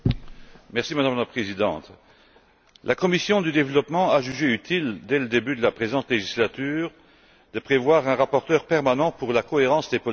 Madame la Présidente, la commission du développement a jugé utile, dès le début de la présente législature, de prévoir un rapporteur permanent pour la cohérence des politiques.